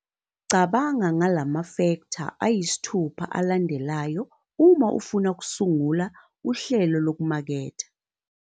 Cabanga ngala mafektha ayisithupha alandelayo uma ufuna ukusungula uhlelo lokumaketha.